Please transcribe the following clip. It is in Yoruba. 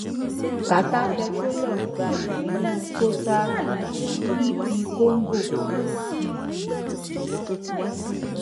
qatar petroleum gba ìpín nínú total um ep congo